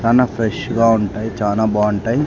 చానా ఫ్రెష్ గా ఉంటాయి చానా బాగుంటాయి.